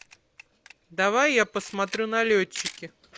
давай я посмотрю налетчики